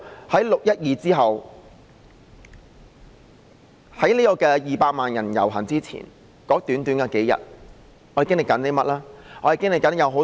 在6月12日當天至200萬人遊行之前的短短數天，我們在此期間經歷了甚麼呢？